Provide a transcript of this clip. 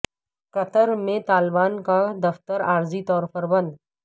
قطر میں طالبان کا دفتر عارضی طور پر بند